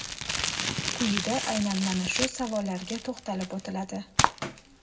Quyida aynan mana shu savollarga to‘xtalib o‘tiladi .